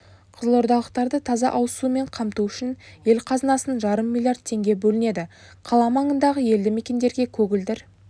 қызылордалықтарды таза ауызсумен қамту үшін ел қазынасынан жарым миллиард теңге бөлінеді қала маңындағы елді мекендерге көгілдір